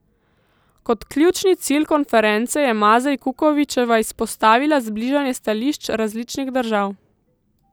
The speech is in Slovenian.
Kot ključni cilj konference je Mazej Kukovičeva izpostavila zbližanje stališč različnih držav.